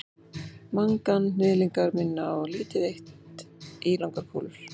manganhnyðlingar minna á lítið eitt ílangar kúlur